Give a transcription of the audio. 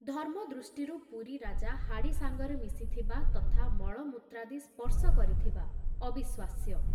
ଧର୍ମ ଦୃଷ୍ଟିରୁ ପୁରୀ ରାଜା ହାଡ଼ି ସାଙ୍ଗରେ ମିଶିଥିବା ତଥା ମଳମୂତ୍ରାଦି ସ୍ପର୍ଶ କରିଥିବା ଅବିଶ୍ଵାସ୍ୟ।